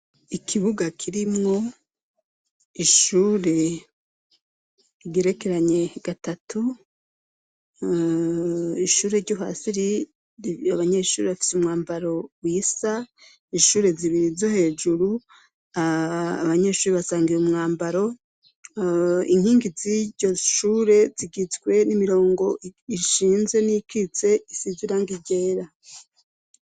Ikibuga kirimwo ishure rigerekeranye gatatu, ishure ryo hasi abanyeshure bafise umwambaro wisa, ishure zibiri zo hejuru, abanyeshure basangiye umwambaro, inkingi z'iryo shure zigizwe n'imirongo ishinze n'iyikitse, isize irangi ryera.